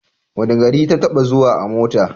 Wane gari ta taɓa zuwa a mota?